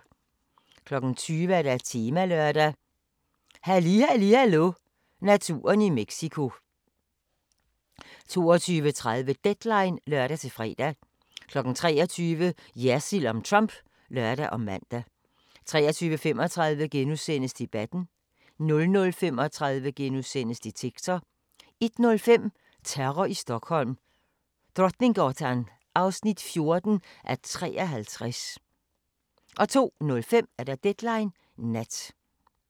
20:00: Temalørdag: Halli Halli Hallo – naturen i Mexico 22:30: Deadline (lør-fre) 23:00: Jersild om Trump (lør og man) 23:35: Debatten * 00:35: Detektor * 01:05: Terror i Stockholm: Drottninggatan 14:53 02:05: Deadline Nat